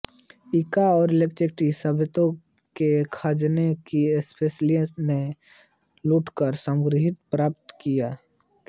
Inca और Aztec सभ्यताओं के खजाने की स्पेनवासियों ने लूटकर समृद्धि प्राप्त की